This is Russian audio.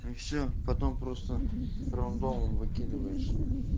и все потом просто фроудоун выкидываешь